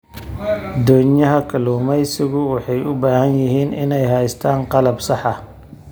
Doonyaha kalluumaysigu waxay u baahan yihiin inay haystaan ??qalab sax ah.